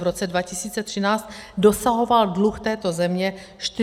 V roce 2013 dosahoval dluh této země 45 % HDP.